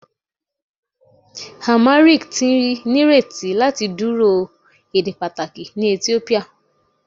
Amharic ti nireti lati duro ede pataki ni Etiopia